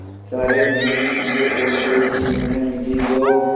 सारे मेले में तुझे और कोई चीज़ न मिली जो